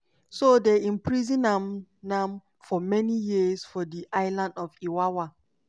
so dem imprison am am for many years for di island of iwawa.